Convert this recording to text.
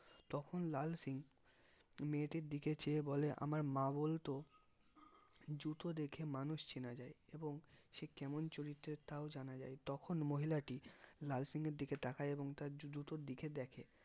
তখন লাল সিং মেয়েটির দিকে চেয়ে বলে আমার মা বলতো জুতো দেখে মানুষ চেনা যাই এবং সে কেমন চরিত্রের তাও জানা যাই তখন মহিলাটি লাল সিংএর দিকে তাকাই এবং তার জুতোর দিকে দেখে